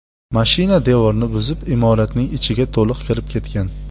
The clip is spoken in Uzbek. Mashina devorni buzib, imoratning ichiga to‘liq kirib ketgan.